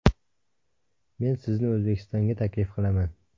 Men sizni O‘zbekistonga taklif qilaman.